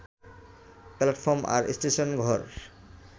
platform আর স্টেশনঘর